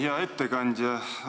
Hea ettekandja!